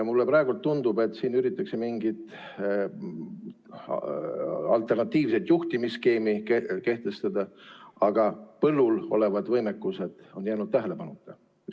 Mulle praegu tundub, et siin üritatakse mingit alternatiivset juhtimisskeemi kehtestada, aga põllul olevad võimekused on jäänud tähelepanuta.